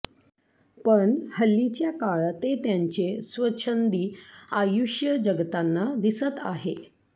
पण हल्लीच्या काळात ते त्यांचे स्वच्छंदी आयुष्य जगताना दिसत आहे